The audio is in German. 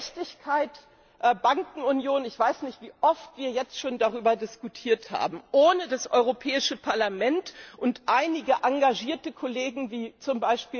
In Sachen Gerechtigkeit Bankenunion Ich weiß nicht, wie oft wir jetzt schon darüber diskutiert haben. Ohne das Europäische Parlament und einige engagierte Kollegen wie z.